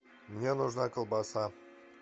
мне нужна колбаса